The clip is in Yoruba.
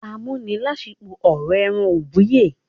Amúnilásífo ọrọ èràn ùbíye